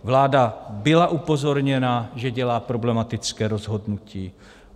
Vláda byla upozorněna, že dělá problematické rozhodnutí.